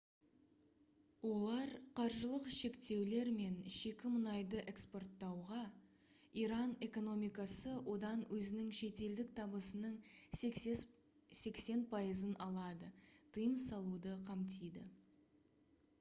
олар қаржылық шектеулер мен шикі мұнайды экспорттауға иран экономикасы одан өзінің шетелдік табысының 80% алады тыйым салуды қамтиды